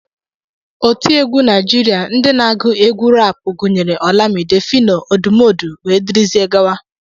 Otiegwu Naijiria ndị na-agụ egwú raapụ gụnyere Olamide, Phyno, Odumodu, dgz